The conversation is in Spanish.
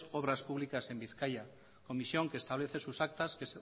obras públicas en bizkaia comisión que establece sus actas